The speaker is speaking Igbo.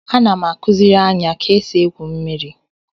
Ana m akuziri Anya ka esi egwu mmiri